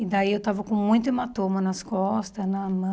E daí eu estava com muito hematoma nas costas, na mão.